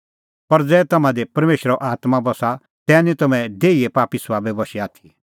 ज़ुंण देहीए पापी सभाबे बशै आसा तिंयां निं परमेशरा खुश करी सकदै